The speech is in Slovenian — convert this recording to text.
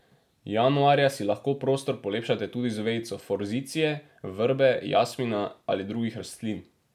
Januarja si lahko prostor polepšate tudi z vejico forzicije, vrbe, jasmina ali drugih rastlin.